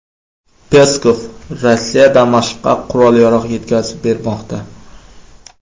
Peskov: Rossiya Damashqqa qurol-yarog‘ yetkazib bermoqda.